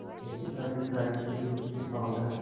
इससे पहले गाय के दूध से पावडर